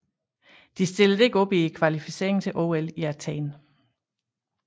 De stillede ikke op i kvalificeringen til OL i Athen